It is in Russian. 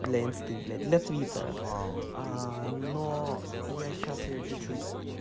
для инсты блять для твитера но я сейчас её чуть-чуть